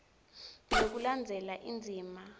ngekulandzela indzima a